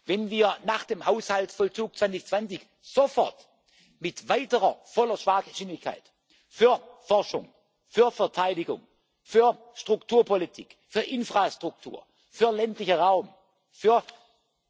lernen? Wenn wir nach dem Haushaltsvollzug 2020 sofort mit weiterer voller Fahrgeschwindigkeit für Forschung, für Verteidigung, für Strukturpolitik, für Infrastruktur, für den ländlichen Raum, für